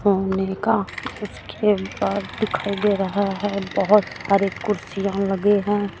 सामने का उसके बाद दिखाई दे रहा है बहुत सारे कुर्सियां लगे हैं।